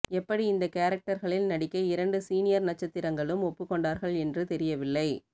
எப்படி இந்த கேரக்டர்களில் நடிக்க இரண்டு சீனியர் நட்சத்திரங்களும் ஒப்புக்கொண்டார்கள் என்று தெரியவில்லை